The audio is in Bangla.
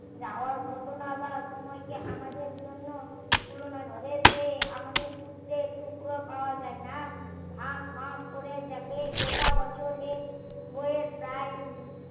যারা ঘটনা বা সময় কে আমাদের জন্য তুলনা ধরে সে আমাদের সূত্রে টুকরো পাওয়া যায় না ফাক ফাক করে দেখে গোটা বছর এই বই এর প্রায়